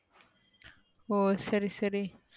ஓ சரி சரி,